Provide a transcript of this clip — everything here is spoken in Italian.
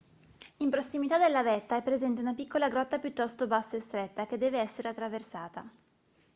in prossimità della vetta è presente una piccola grotta piuttosto bassa e stretta che deve essere attraversata